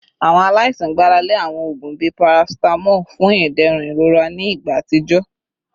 Awọn alaisan gbarale awọn oogun bii paracetamol fun iderun irora ni igba atijọ